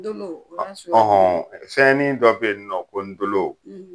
Ndolo a y'a suguya jumɛn ye fɛnnin dɔ be ye nɔ ko ndolo